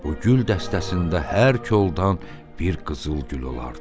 Bu gül dəstəsində hər koldan bir qızılgül olardı.